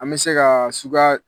An bɛ se kaa suga